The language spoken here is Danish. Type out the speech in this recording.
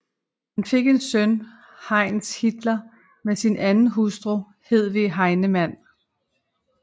Han fik en søn Heinz Hitler med sin anden hustru Hedwig Heinemann